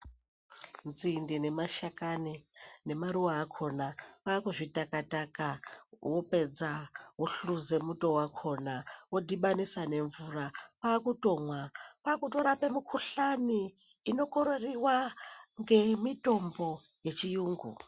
Nzinde nemashakani nemaruva akona kwakuzvitaka taka wopedza wohluze muto wakona wodhibanisa nemvura kwakutomwa kwakutorapa mikuhlani inokororiwa ngemitombo yechiyungu .